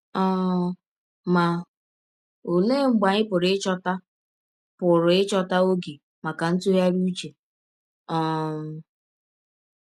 um Ma ọlee mgbe anyị pụrụ ịchọta pụrụ ịchọta ọge maka ntụgharị ụche um?